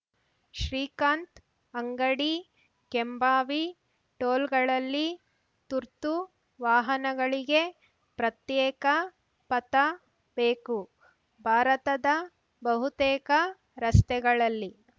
ಶ್ರೀಕಾಂತ್‌ ಅಂಗಡಿ ಕೆಂಭಾವಿ ಟೋಲ್‌ಗಳಲ್ಲಿ ತುರ್ತುವಾಹನಗಳಿಗೆ ಪ್ರತ್ಯೇಕ ಪಥ ಬೇಕು ಭಾರತದ ಬಹುತೇಕ ರಸ್ತೆಗಳಲ್ಲಿ